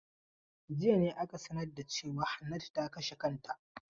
Jiya ne ake sanar da cewa Hannatu ta kashe kanta.